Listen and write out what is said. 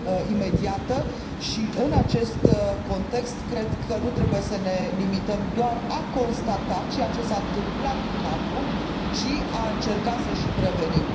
imediată și, în acest context, cred că nu trebuie să ne limităm doar la a constata ceea ce s a întâmplat până acum, ci a încerca să și prevenim.